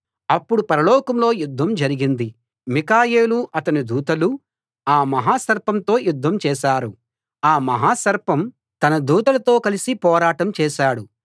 అప్పుడు పరలోకంలో యుద్ధం జరిగింది మిఖాయేలూ అతని దూతలూ ఆ మహాసర్పంతో యుద్ధం చేశారు ఆ మహా సర్పం తన దూతలతో కలసి పోరాటం చేశాడు